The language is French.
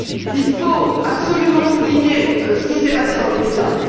Il faut absolument souligner ce qui s'est passé dans les médias.